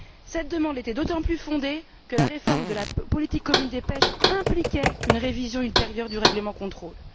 Cette demande était d'autant plus fondée que la réforme de la politique commune de la pêche impliquait une révision ultérieure du règlement de contrôle.